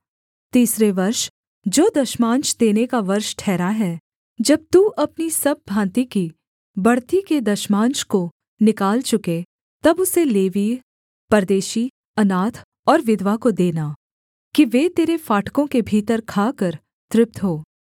तीसरे वर्ष जो दशमांश देने का वर्ष ठहरा है जब तू अपनी सब भाँति की बढ़ती के दशमांश को निकाल चुके तब उसे लेवीय परदेशी अनाथ और विधवा को देना कि वे तेरे फाटकों के भीतर खाकर तृप्त हों